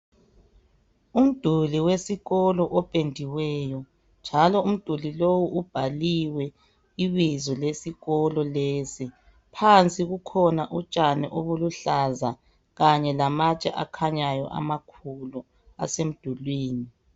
Umduli wesikolo opendiweyo njalo umduli lowu ubhaliwe ibizo lesikolo lesi. Phansi kukhona utshani obuluhlaza kanye lamatshe akhanyayo amakhulu asemdulwini.